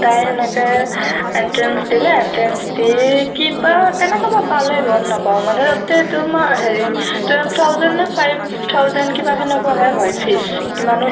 তাই সেনেকে entrance দিলে, entrance দি কিবা কেনেকে বা পালে গম নাপাওঁ মানে তাতে তোমাৰ হেৰি twelve thousand নে five thousand কিবা সেনেকুৱাহে হয় fees সিমানো